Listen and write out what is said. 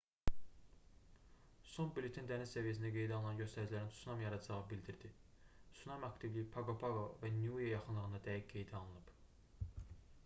son bülleten dəniz səviyyəsində qeydə alınan göstəricilərin tsunami yaradacağını bildirdi sunami aktivliyi paqo-paqo və niue yaxınlığında dəqiq qeydə alınıb